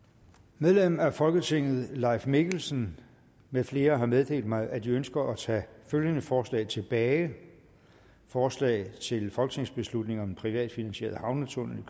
medlem af folketinget leif mikkelsen med flere har meddelt mig at de ønsker at tage følgende forslag tilbage forslag til folketingsbeslutning om en privatfinansieret havnetunnel